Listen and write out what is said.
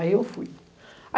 Aí eu fui.